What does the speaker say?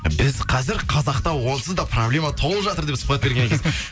біз қазір қазақта онсыз да проблема толып жатыр деп сұхбат берген екенсіз